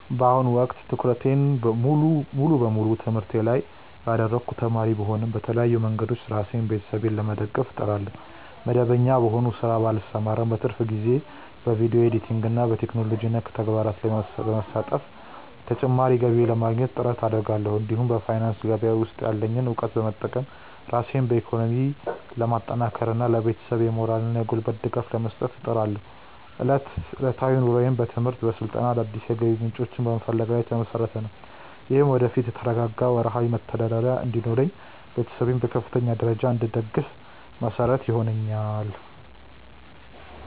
በአሁኑ ወቅት ትኩረቴን ሙሉ በሙሉ በትምህርቴ ላይ ያደረግኩ ተማሪ ብሆንም፣ በተለያዩ መንገዶች ራሴንና ቤተሰቤን ለመደገፍ እጥራለሁ። መደበኛ በሆነ ሥራ ባልሰማራም፣ በትርፍ ጊዜዬ በቪዲዮ ኤዲቲንግና በቴክኖሎጂ ነክ ተግባራት ላይ በመሳተፍ ተጨማሪ ገቢ ለማግኘት ጥረት አደርጋለሁ። እንዲሁም በፋይናንስ ገበያ ውስጥ ያለኝን እውቀት በመጠቀም ራሴን በኢኮኖሚ ለማጠናከርና ለቤተሰቤም የሞራልና የጉልበት ድጋፍ ለመስጠት እጥራለሁ። ዕለታዊ ኑሮዬም በትምህርት፣ በስልጠናና አዳዲስ የገቢ ምንጮችን በመፈለግ ላይ የተመሰረተ ነው። ይህም ወደፊት የተረጋጋ ወርሃዊ መተዳደሪያ እንዲኖረኝና ቤተሰቤን በከፍተኛ ደረጃ እንድደግፍ መሰረት ይሆነኛል።